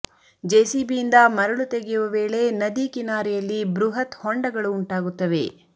JCB ಯಿಂದ ಮರಳು ತೆಗೆಯುವ ವೇಳೆ ನದಿ ಕಿನಾರೆಯಲ್ಲಿ ಬೃಹತ್ ಹೊಂಡಗಳು ಉಂಟಾಗುತ್ತವೆ